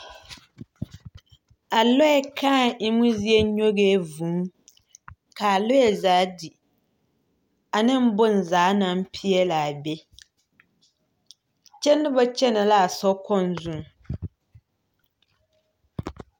A lɔɛ kãã emmo zie nyongɛɛ vūū kaa lɔɛ zaa di aneŋ bonzaa naŋ peɛɛlaa be kyɛ noba kyɛnɛ laa sokpoŋ zuŋ.